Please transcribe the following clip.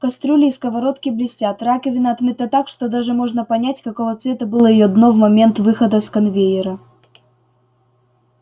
кастрюли и сковородки блестят раковина отмыта так что даже можно понять какого цвета было её дно в момент выхода с конвейера